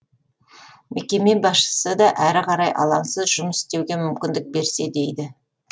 мекеме басшысы да әрі қарай алаңсыз жұмыс істеуге мүмкіндік берсе дейді